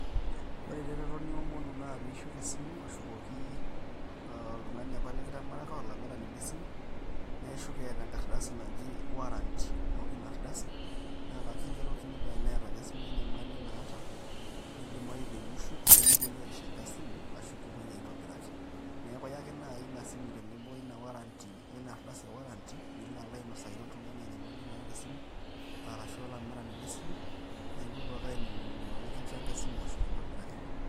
Ore ereteto niomonu na pishuk esimu, ashukoki oltung'ani apa likitimiraka, olamirani le simu, na ishuk etaa enkardasi naji warranty ,na ore inardasi, na kakigerokini pa teneeta esimu enyamali naata, nidimayu peyie ishuk nikipoi aisho enkae simu, ashu kipoi aitobiraki. Neeku iya ake nai inasimu tenebo oina darsi warranty ,nilo alo ainosaki oltung'ani inanyamali naata esimu, arashu olamirani le simu, na ipuopuo ake ainining'uno nikincho enkae simu ashu kintobiraki ina.